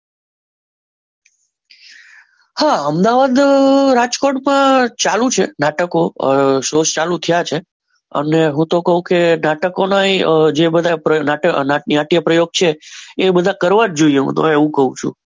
હા અમદાવાદ રાજકોટમાં ચાલુ છે નાટકો સોસ ચાલુ થયા છે અને હું તો કહું કે નાટકો નો ય હું તો કહું કે નાટકોનો જે નાટક પ્રયોગ છે એ બધા કરવા જોઈએ હું તો એવું કહું